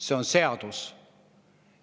" See on seadus.